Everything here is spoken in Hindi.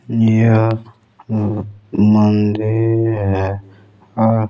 यह वो आ मंदिर है और--